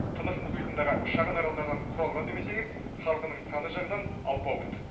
тынық мұхитындағы шағын аралдардан құралған демесеңіз халқының саны жағынан алпауыт